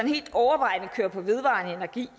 helt overvejende kører på vedvarende energi